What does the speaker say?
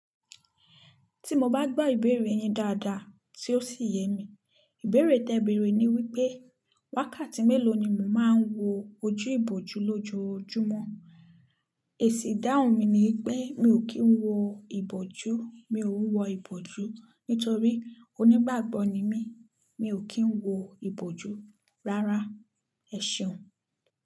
Tí mo bá gbá ìbéèrè yen dáadáa tí ó sì yẹ mí, ìbéèrè tẹ bèrè ni wípé wákàtí mélòó ni mo máa ń wo ojú ìbòjú lójoojúmọ́. Èsì ìdáhùn mi ni pé mi ò kí ń wo ìbòjú, mi ò ń wo ìbòjú nítorí onígbàgbọ́ ni mí, mi ò kí ń wo ìbòjú rárá. Ẹ ṣeun.